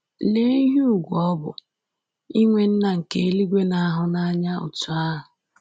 Lee ihe ùgwù ọ bụ inwe Nna nke eluigwe na-ahụ n’anya otú ahụ!”